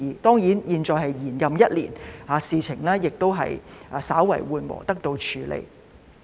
當然，現在我們延任一年，事情已經稍為緩和，得到了處理。